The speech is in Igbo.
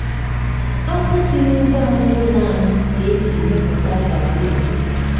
akpụ si n'ugbo azụ ụlọ ahụ ka e ji mepụta gari ozugbo.